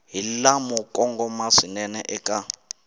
hi lamo kongoma swinene eka